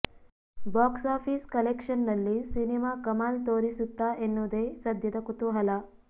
box office ಕಲೆಕ್ಷನ್ನಲ್ಲಿ cinema ಕಮಾಲ್ ತೋರಿಸುತ್ತಾ ಎನ್ನುವುದೇ ಸದ್ಯದ ಕುತೂಹಲ